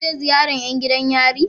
Za ku je ziyaran yan gidan yari?